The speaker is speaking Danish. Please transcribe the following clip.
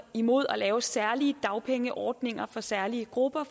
imod at lave særlige dagpengeordninger for særlige grupper